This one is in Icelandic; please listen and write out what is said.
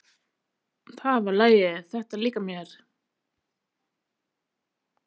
Það var lagið. þetta líkar mér!